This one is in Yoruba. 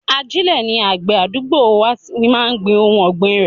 Ajile ni àgbè àdúgbò wa fi máa ń gbin ohun ọgbin rẹ.